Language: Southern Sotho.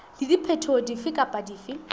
le diphetoho dife kapa dife